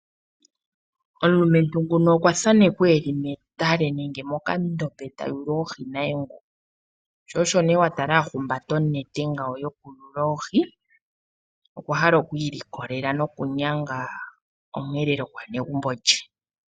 Omulumentu nguno okwa thanekwa eli metale nenge moka ndombe, ta yulu oohi naye nguu. Sho osho nee watala ahumbata onete yoku yula oohi. Okwa hala okwiilukolela nokunyanga oomweelelo gwaanegumbo lye.